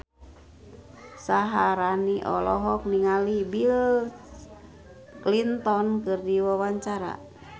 Syaharani olohok ningali Bill Clinton keur diwawancara